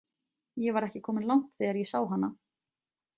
Ég var ekki kominn langt þegar ég sá hana.